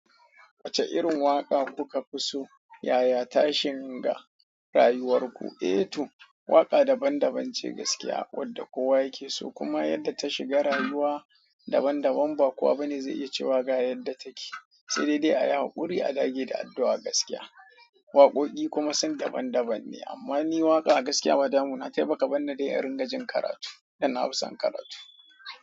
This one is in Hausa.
Wace irin waka kukafi so yaya tashin rayuwarku. Eh to, waƙa daban-daban ce gaskiya, wadda kowa yake so kuma yadda ta shiga rayuwa daban-daban ba kuwa bane zai iya cewa ga yadda take. Sai dai dai a yi haƙuri a dage da addu'a gaskiya. Waƙoƙi kuma sun daban-daban ne amma ni waƙa gaskiya badamu na taiba ka banni dai irinka jin karatu, dan na fi son karatu.